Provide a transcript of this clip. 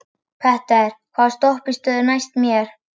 Petter, hvaða stoppistöð er næst mér?